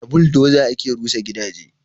Da buldoza ake rusa gidaje